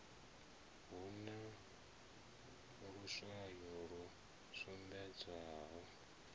hu na luswayo lu sumbedzaho